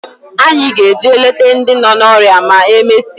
Anyị ga-eje leta ndị nọ n'ọrịa ma e mesịa